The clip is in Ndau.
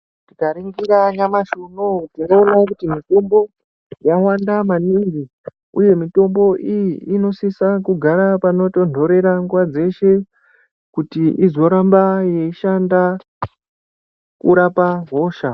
Tikaningira nyamashi unowu tinoona kuti mitombo yawanda maningi uye mitombo iyi inosisa kugara panotonderera nguwa dzeshe kuti izoramba yeishanda kurapa hosha.